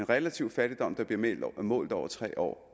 relativ fattigdom der bliver målt over tre år